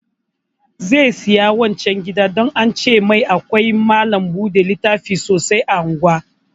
Zai saya wancan gidan don an ce mai akwai malam buɗe littafi sosai a unguwar